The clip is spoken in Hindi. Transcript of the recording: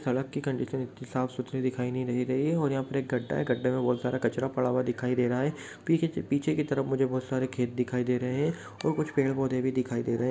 सडक की कंडीसन इतनी साफ सुथरी दिखाई नहीं दे रही है और यहाँ पर एक गड्डा है गड्डे में बहुत सारा कचरा पड़ा हुआ दिखाई दे रहा है। पीके पीछे के तरफ मुझे बहुत सारे खेत दिखाई दे रहे हैं और कुछ पेड-पोधे भी दिखाई दे रहे---